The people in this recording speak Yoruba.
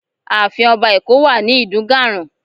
Ààfin Ọba Eko wà ní Idunganran